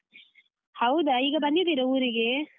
ಹೌದಾ ಈಗ ಬಂದಿದೀರ ಊರಿಗೆ?